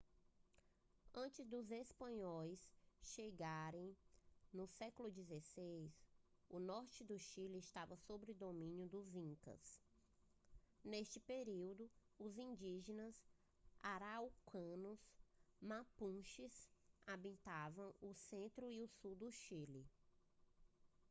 antes dos espanhóis chegarem no século 16 o norte do chile estava sob domínio dos incas. neste período os indígenas araucanos mapuches habitavam o centro e o sul do chile